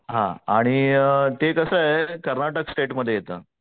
हा आणि अ ते तसय कर्नाटक स्टेट मध्ये येत.